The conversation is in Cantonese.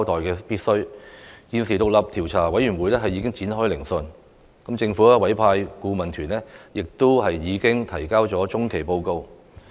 現時獨立調查委員會已展開聆訊，政府委派的顧問團亦提交了中期報告。